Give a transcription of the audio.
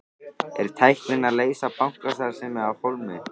Er tæknin að leysa bankastarfsmanninn af hólmi?